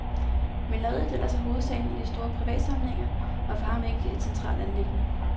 Maleriet, der ellers er hovedsagen i de store privatsamlinger, var for ham ikke et centralt anliggende.